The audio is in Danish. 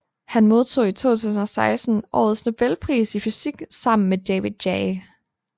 Han modtog i 2016 årets Nobelpris i fysik sammen med David J